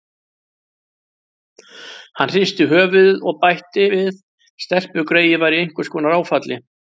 Hann hristi höfuðið og bætti við: Stelpugreyið var í einhvers konar áfalli.